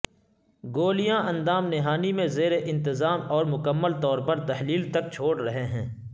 گولیاں اندام نہانی میں زیر انتظام اور مکمل طور پر تحلیل تک چھوڑ رہے ہیں